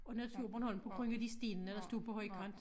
Og Naturborholm på grund af de stenene der stod på højkant